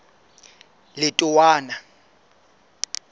letowana